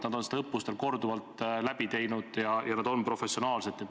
Nad on neid õppusi korduvalt läbi teinud ja nad on professionaalsed.